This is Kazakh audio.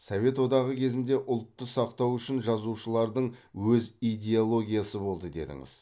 совет одағы кезінде ұлтты сақтау үшін жазушылардың өз идеологиясы болды дедіңіз